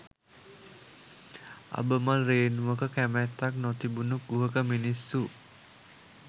අබමල් රේණුවක කැමැත්තක් නොතිබුණු කුහක මිනිස්සු